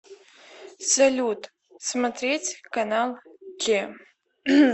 салют смотреть канал че